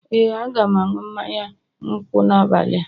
Ee, a ga m aṅụ mmanya nkwụ n'abalị a